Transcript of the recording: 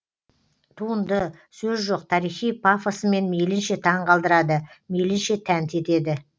туынды сөз жоқ тарихи пафосымен мейлінше таң қалдырады мейлінше тәнті етеді